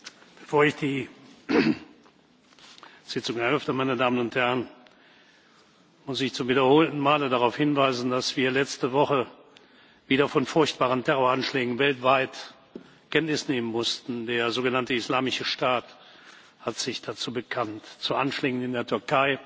Bevor ich die Sitzung eröffne, muss ich zum wiederholten Male darauf hinweisen, dass wir letzte Woche wieder von furchtbaren Terroranschlägen weltweit Kenntnis nehmen mussten. Der sogenannte Islamische Staat hat sich dazu bekannt zu Anschlägen in der Türkei,